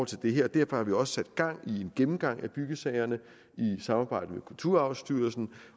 til det her derfor har vi også sat gang i en gennemgang af byggesagerne i samarbejde med kulturarvsstyrelsen